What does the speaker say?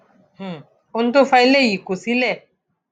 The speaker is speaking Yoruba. um ohun tó fa eléyìí kò sì le